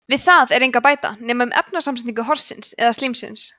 við það er engu að bæta nema um efnasamsetningu horsins eða slímsins